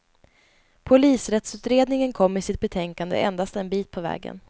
Polisrättsutredningen kom i sitt betänkande endast en bit på vägen.